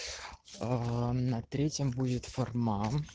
аа на третьем будет форма